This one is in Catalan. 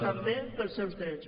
també pels seus drets